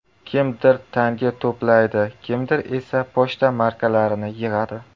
Kimdir tanga to‘playdi, kimdir esa pochta markalarini yig‘adi.